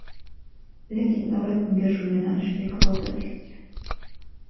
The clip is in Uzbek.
Lekin davlat unga shu yo‘nalishga kvota ajratgan.